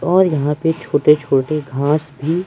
और यहां पे छोटे छोटे घास भी--